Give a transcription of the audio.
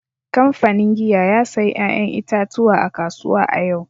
Kamfanin giya ya sayi 'ya'yan itatuwa a kasuwa a yau